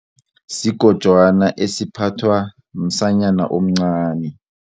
Sigojwana esiphathwa msanyana omncani.